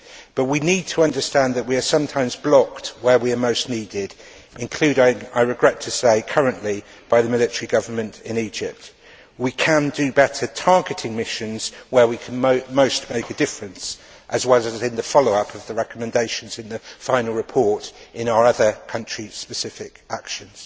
But we need to understand that we are sometimes blocked where we are most needed, including, I regret to say currently by the military government in Egypt. We can do better targeting missions where we can most make a difference as well as in the follow up of the recommendations in the final report in our other country specific actions.